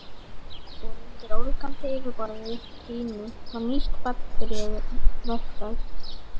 Og undir ólgandi yfirborði Gínu var nýtt barn byrjað vegferð.